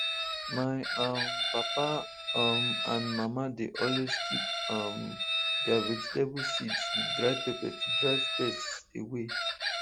my um papa um and mama dey always keep um their vegetable seeds with dry pepper to drive pests away